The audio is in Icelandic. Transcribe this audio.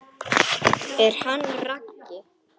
En hann Raggi?